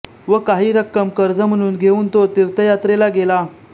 व काही रक्कम कर्ज म्हणून घेवून तो तीर्थयात्रेला गेला